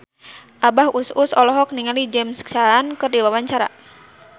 Abah Us Us olohok ningali James Caan keur diwawancara